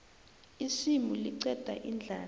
isimu liqeda indlala